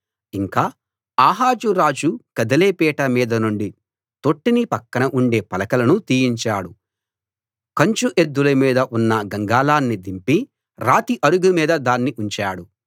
ఇంకా ఆహాజు రాజు కదిలే పీట మీది నుండి తొట్టిని పక్కన ఉండే పలకలను తీయించాడు కంచు ఎద్దుల మీద ఉన్న గంగాళాన్ని దింపి రాతి అరుగు మీద దాన్ని ఉంచాడు